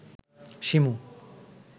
Shimu